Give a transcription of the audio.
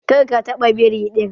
Kar ka taɓa biri din!